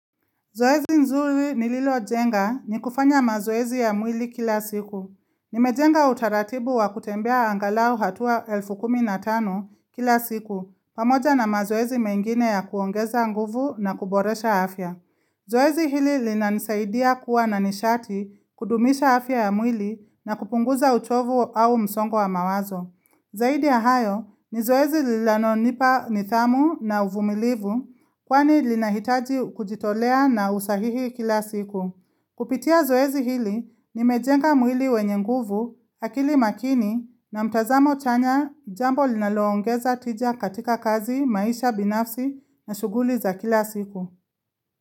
Zoezi nzuri nililojenga, ni kufanya mazoezi ya mwili kila siku. Nimejenga utaratibu wa kutembea angalau hatua elfu kumi na tano kila siku, pamoja na mazoezi mengine ya kuongeza nguvu na kuboresha afya. Zoezi hili linanisaidia kuwa na nishati, kudumisha afya ya mwili na kupunguza uchovu au msongo wa mawazo. Zaidi ya hayo, ni zoezi linalo nipa nidhamu na uvumilivu, kwani linahitaji kujitolea na usahihi kila siku. Kupitia zoezi hili, nimejenga mwili wenye nguvu, akili makini na mtazamo chanya, jambo linaloongeza tija katika kazi, maisha binafsi na shuguli za kila siku.